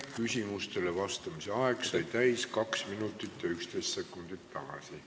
Küsimustele vastamise aeg sai täis kaks minutit ja üksteist sekundit tagasi.